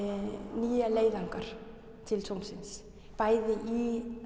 nýjum leiðangri til tunglsins bæði í